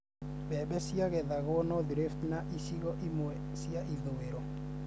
Mbembe nĩciagethagwo North Rift na icigo imwe cia ithũiro